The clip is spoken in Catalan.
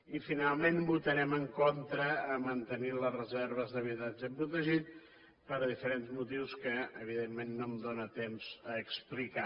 i finalment votarem en contra de mantenir les reserves d’habitatge protegit per diferents motius que evidentment no tinc temps d’explicar